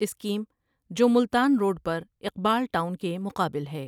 Scheme جو Multan road پر Iqbal town کے مقابل ہے۔